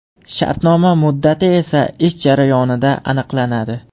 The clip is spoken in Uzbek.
Shartnoma muddati esa ish jarayonida aniqlanadi.